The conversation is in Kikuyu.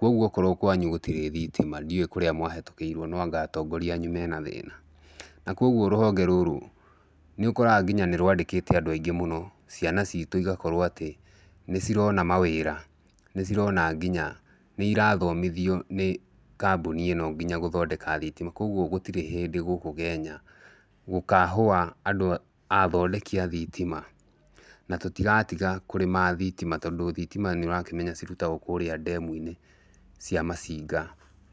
kogwo akorwo kwanyu gũtirĩ thitima ndiũĩ kũrĩa mwahĩtũkĩirwo noanga atongoria anyu mena thĩna, na koguo rũhonge rũrũ nĩũkoraga nginya nĩrwandĩkĩte andũ aingĩ mũno ciana citũ igakorwo atĩ nĩcirona mawĩra nĩcirona nginya nĩirathomithio nĩ kambũni ĩno nginya gũthondeka thitima, koguo gũtirĩ hĩndĩ gũkũ Kenya gũkahũa andũ a athondeki a thitima na tũtigatiga kũrĩma thitima tondũ thitima nĩũrakĩmenya cirutagwo kũrĩa ndemu-inĩ cia Masinga.